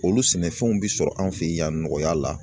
Olu sɛnɛfɛnw bɛ sɔrɔ an fɛ yan nɔgɔya la